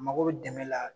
Mako bɛ dɛmɛ la